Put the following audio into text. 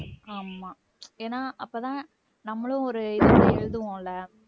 ஆமா ஏன்னா அப்பதான் நம்மளும் ஒரு இதோட எழுதுவோம்ல